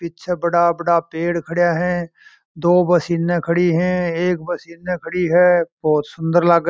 पीछे बड़ा बड़ा पेड़ खड़ा है दो बस इने खड़ी है एक बस इने खड़ी है बहुत सुन्दर लागे है।